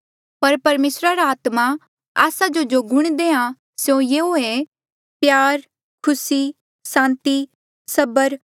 पर परमेसर रा आत्मा आस्सो जो गुण देहां से यूयाँ ऐें प्यार खुसी सांति सबर